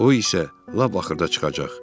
O isə lap axırda çıxacaq.